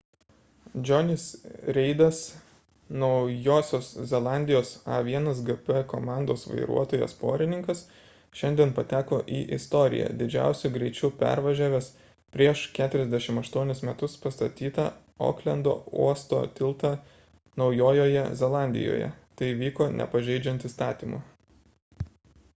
jonny's reidas naujosios zelandijos a1gp komandos vairuotojas porininkas šiandien pateko į istoriją didžiausiu greičiu pervažiavęs prieš 48 metus pastatytą oklendo uosto tiltą naujojoje zelandijoje tai vyko nepažeidžiant įstatymų